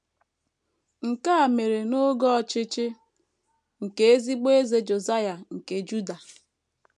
Nke a mere n’oge ọchịchị nke ezigbo Eze Josaịa nke Juda.